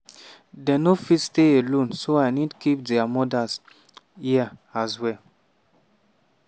dey no fit stay alone so i need keep dia mothers hia as well.